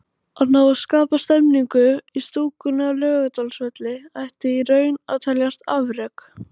Að ná að skapa stemningu í stúkunni á Laugardalsvelli ætti í raun að teljast afrek.